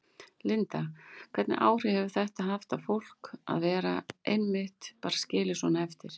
Linda: Hvernig áhrif getur þetta haft á fólk að vera einmitt bara skilið svona eftir?